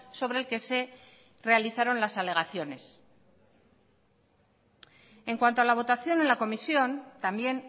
sobre el que se realizaron las alegaciones en cuanto a la votación en la comisión también